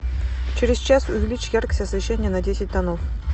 через час увеличь яркость освещения на десять тонов